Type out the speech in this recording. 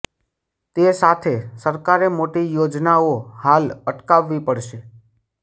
તે સાથે સરકારે મોટી યોજનાઓ હાલ અટકાવવી પડશે